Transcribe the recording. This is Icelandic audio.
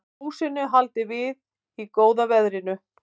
Húsinu haldið við í góða veðrinu